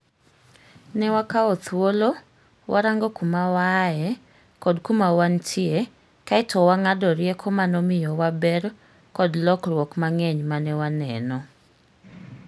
Ne wakao thuolo, warango kuma waaye kod kuma wantie kaeto wang'ado rieko manomiyowa ber kod lokruok mang'eny mane waneno.